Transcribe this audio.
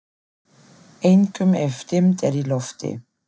Einkum ef dimmt er í lofti.